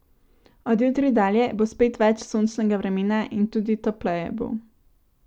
Od jutri dalje bo spet več sončnega vremena in tudi topleje bo.